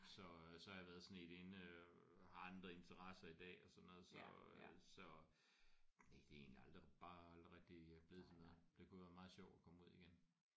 Så så har jeg været sådan i et inde øh har andre interesser i dag og sådan noget så øh så næ det er egentlig aldrig bare aldrig rigtig øh blevet til noget. Det kunne være meget sjovt at komme ud igen